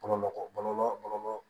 Bɔnmɔgɔ bɔlɔlɔ bɔlɔlɔ